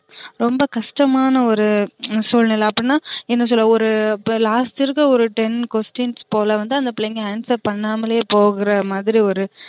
ரொம்ப கஷ்டமான ஒரு சூழ்நில அப்டினா என்ன சொல்ல ஒரு last இருக்க ஒரு ten questions போல வந்து அந்த பிள்ளைங்க answer பண்ணாமலயே போகுறமாதிரி ஒரு